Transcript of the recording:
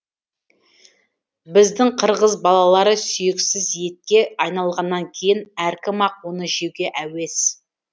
біздің қырғыз балалары сүйексіз етке айналғаннан кейін әркім ақ оны жеуге әуес